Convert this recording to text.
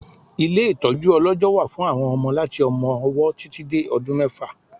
Ilé ìtọjú ọlọjọ wà fún àwọn ọmọ láti ọmọ-ọwọ títì dé ọdún mẹ́fà